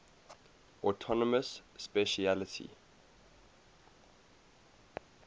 autonomous specialty